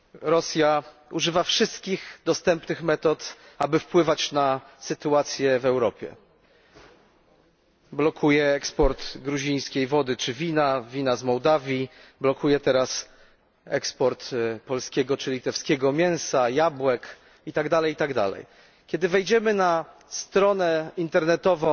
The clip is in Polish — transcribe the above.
Rosja używa wszystkich dostępnych metod, aby wpływać na sytuację w Europie blokuje eksport gruzińskiej wody czy wina, wina z Mołdawii, blokuje teraz eksport polskiego czy litewskiego mięsa, jabłek itd. Kiedy wejdziemy na stronę internetową